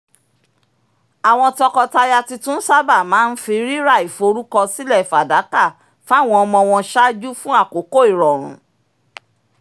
àwọn tọkọtaya tuntun sábà máa ń fi rírà ìforúkọsílẹ̀ fàdákà fáwọn ọmọ wọn ṣáájú fún àkókò ìròrùn